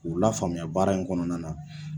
K'u lafaamuya baara in kɔnɔna na.